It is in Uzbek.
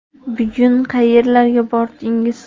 Bugun qayerlarga bordingiz?